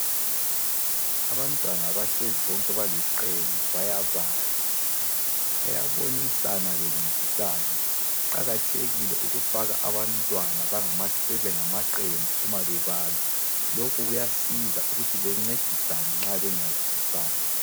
Abantwana bahlezi bonke baliqembu bayabala. Bayabonisana bencedisana. Kuqakathekile ukufaka abantwana bebengamaqembu uma bebala. Lokhu kuyasiza ukuthi bencedisane nxa bengazwisisanga.